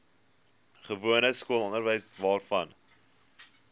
gewone skoolonderwys waarvan